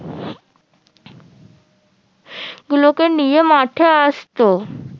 গুলোকে নিয়ে মাঠে আসতো